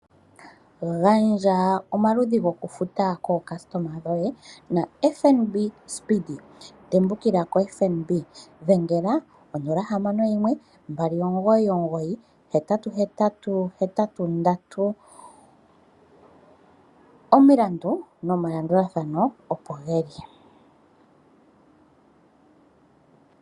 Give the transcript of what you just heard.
Gandja omaludhi gokufuta kookastoma dhoye naFNB speedee, tembukila koFNB. Dhengela konomola 061299 888. Omilandu nomalandathano oko ge li.